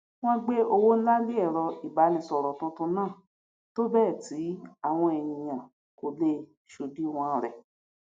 wọn gbé owó ńlá le ẹrọ ìbánisọrọ tuntun náà tó bẹẹ tí àwọn èèyàn kò le ṣòdiwọn rẹ